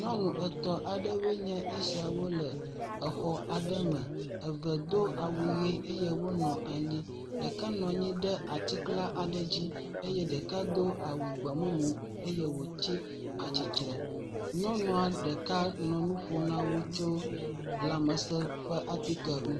Nyɔnu etɔ̃ aɖewoe nye esiawo le exɔ aɖe me, eve do awu ʋe eye wonɔ anyi, ɖeka nɔ anyi ɖe atikla aɖe dzi eye ɖeka do awu gbemumu eye wòtsi atsitre. Nyɔnua ɖeka nɔ nu ƒom na wo tso lãmesẽ ƒe atike ŋu…